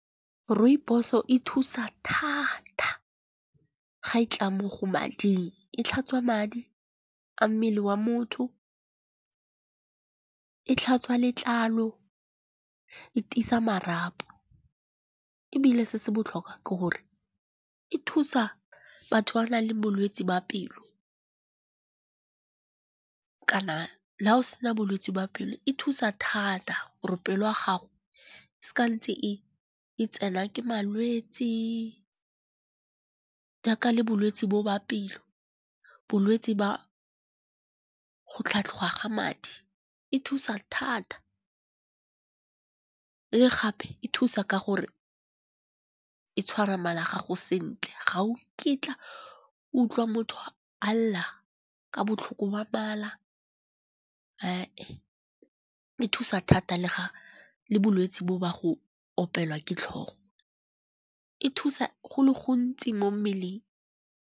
Rooibos-o e thusa thata ga e tla mo go mading, e tlhatswa madi a mmele wa motho, e tlhatswa letlalo, e tiisa marapo. Ebile se se botlhokwa ke gore e thusa batho ba ba nang le bolwetse jwa pelo, kana la go sena bolwetsi jwa pelo e thusa thata gore pele ya gago se ka ntse e tsenwa ke malwetsi, jaaka le bolwetsi bo ba pelo. Bolwetsi ba go tlhatlhoga ga madi, e thusa thata le gape e thusa ka gore e tshwara mala a gago sentle ga u nkitla utlwa motho a lla ka botlhoko ba bala. E thusa thata le bolwetse bo ba go opelwa ke tlhogo, e thusa go le gontsi mo mmeleng.